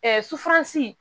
sufansi